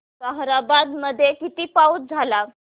ताहराबाद मध्ये किती पाऊस झाला